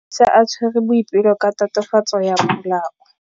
Maphodisa a tshwere Boipelo ka tatofatsô ya polaô.